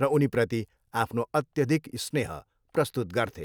र उनीप्रति आफ्नो अत्यधिक स्नेह प्रस्तुत गर्थे।